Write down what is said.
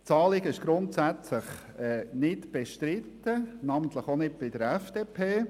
Das Anliegen ist grundsätzlich nicht bestritten, namentlich auch nicht von der FDP.